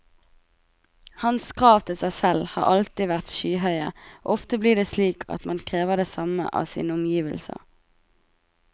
Hans krav til seg selv har alltid vært skyhøye, og ofte blir det slik at man krever det samme av sine omgivelser.